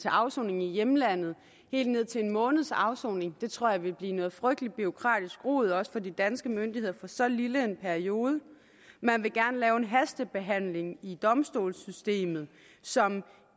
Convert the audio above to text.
afsoning i hjemlandet helt ned til en måneds afsoning det tror jeg vil blive noget frygteligt bureaukratisk rod også for de danske myndigheder for så lille en periode man vil gerne lave en hastebehandling i domstolssystemet som